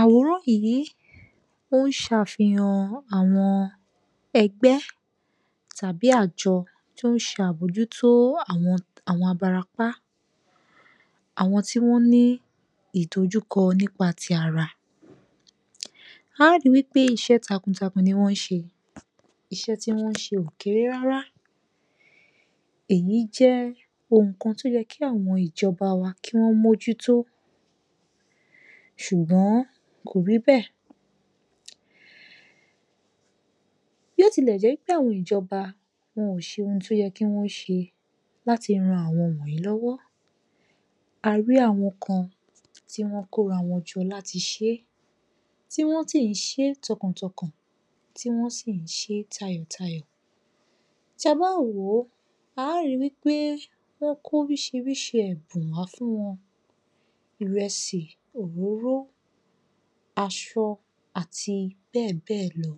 Àwóró yìí ó ń ṣàfihàn àwọn ẹgbẹ́ tàbí àjọ tó ń ṣe àbójútó àwọn abarapá, àwọn tí wọ́n ní ìdojúkọ nípa ti ara. Á ri wí pé iṣẹ́ takun takun ni wọ́n ṣe. Iṣẹ́ tí wọ́n ṣe ò kéré rárá èyí jẹ́ ohun kan tó yẹ kí àwọn ìjọba wa kí wọ́n mójútó ṣùgbọ́n kò ríbẹ̀. Bí ó tilẹ̀ jẹ́ pé àwọn ìjọba wọn ò ṣe ohun tó yẹ kí wọ́n ṣe láti ran àwọn wọnyìí lọ́wọ́, a rí àwọn kan tí wọ́n kóra wọn jọ láti ṣeé tí wọ́n tí ń ṣe tọkàn tọkàn tí wọ́n sì ń ṣeé tayọ̀ tayọ̀. Tí a bá ń wò ó á ri wí pé wọ́n kó oríṣiríṣi ẹ̀bùn wá fún wọn, ìrẹsì, òróró, aṣọ àti bẹ́ẹ̀bẹ́ẹ̀ lọ.